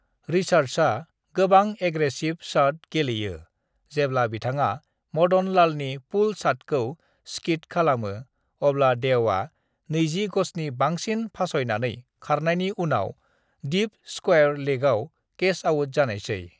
रिचर्ड्सआ गोबां aggressive shot गेलेयो जेब्ला बिथाङा मदन लालनि पुल शॉटखौ स्किड खालामो अब्ला देवआ 20 गजनि बांसिन फासयनानै खारनायनि उनाव डीप स्क्वायर लेगआव कैच आउट जानायसै।